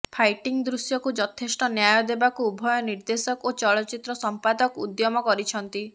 fighting ଦୃଶ୍ୟକୁ ଯଥେଷ୍ଟ ନ୍ୟାୟ ଦେବାକୁ ଉଭୟ ନିର୍ଦେଶକ ଓ ଚଳଚ୍ଚିତ୍ର ସମ୍ପାଦକ ଉଦ୍ୟମ କରିଛନ୍ତି